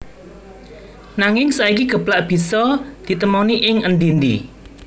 Nanging saiki geplak bisa ditemoni ing endi endi